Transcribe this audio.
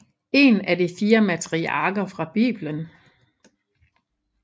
En af de fire matriarker fra Biblen